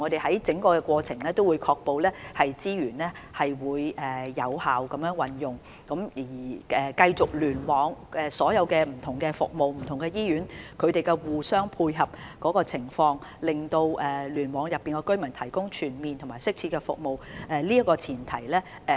在整個過程中，當局會確保資源有效運用，確保聯網內各項不同服務及醫院互相配合，為聯網覆蓋的居民提供全面及適切服務。